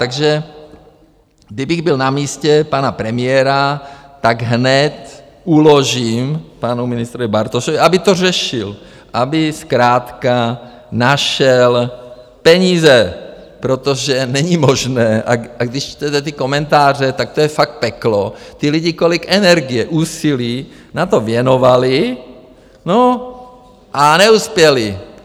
Takže kdybych byl na místě pana premiéra, tak hned uložím panu ministrovi Bartošovi, aby to řešil, aby zkrátka našel peníze, protože není možné, a když čtete ty komentáře, tak to je fakt peklo, ty lidi kolik energie, úsilí na to věnovali, no a neuspěli.